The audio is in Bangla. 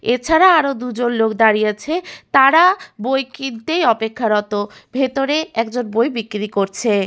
এছাড়া আরো দুজন লোক দাঁড়িয়ে আছে তারা বই কিনতেই অপেক্ষারত ভেতরে একজন বই বিক্রি করছে।